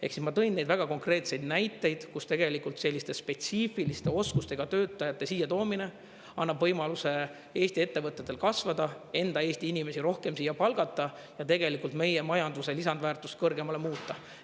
Ehk siis ma tõin neid väga konkreetseid näiteid, kus tegelikult selliste spetsiifiliste oskustega töötajate siia toomine annab võimaluse Eesti ettevõtetel kasvada, enda Eesti inimesi rohkem siia palgata ja meie majanduse lisandväärtust kõrgemale muuta.